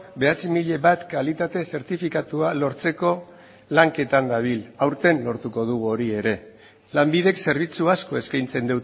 bederatzi mila bat kalitate zertifikatua lortzeko lanketan dabil aurten lortuko dugu hori ere lanbidek zerbitzu asko eskaintzen